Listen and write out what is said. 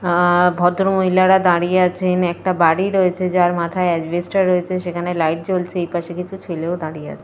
আঃ ভদ্রমহিলারা দাঁড়িয়ে আছেন। একটা বাড়ি রয়েছে যার মাথায় অ্যাসবেসটস রয়েছে। সেখানে লাইট জ্বলছে। এই পাশে কিছু ছেলেও দাঁড়িয়ে আছে।